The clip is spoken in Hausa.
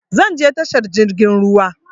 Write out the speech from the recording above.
Zan je tashar jirgin ruwa